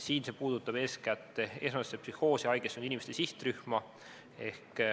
Siin puudutab see eeskätt esmasesse psühhoosi haigestunud inimeste sihtrühma.